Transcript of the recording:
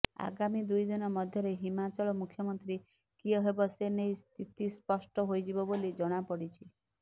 ଆଗାମୀ ଦୁଇଦିନ ମଧ୍ୟରେ ହିମାଚଳ ମୁଖ୍ୟମନ୍ତ୍ରୀ କିଏ ହେବ ସେ ନେଇ ସ୍ଥିତି ସ୍ପଷ୍ଟ ହୋଇଯିବ ବୋଲି ଜଣାପଡ଼ିଛି